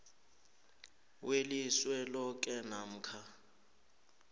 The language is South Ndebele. welizwe loke namkha